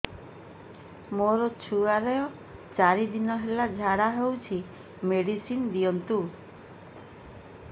ମୋର ଛୁଆର ଚାରି ଦିନ ହେଲା ଝାଡା ହଉଚି ମେଡିସିନ ଦିଅନ୍ତୁ